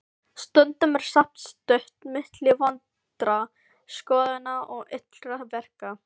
Stundum er samt stutt milli vondra skoðana og illra verka.